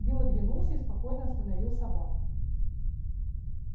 билл оглянулся и спокойно остановил собак